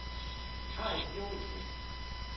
Carl Johnsen